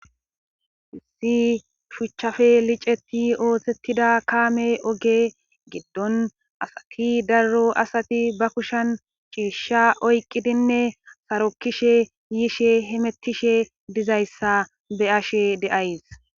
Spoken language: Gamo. Hissi shuchchafe liceti ootettida kaame oge giddon asati darro asati bakushan shiishsha oyqqidinne sarokkishe yiishe hemettishe dizayssa be ashe deays.